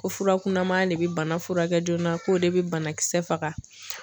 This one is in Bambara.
Ko fura kunanma de bi bana furakɛ joona k'o de bɛ banakisɛ faga.